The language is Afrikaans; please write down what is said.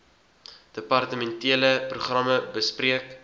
departementele programme bespreek